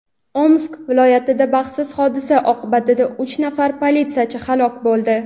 Omsk viloyatida baxtsiz hodisa oqibatida uch nafar politsiyachi halok bo‘ldi.